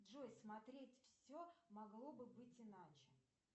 джой смотреть все могло бы быть иначе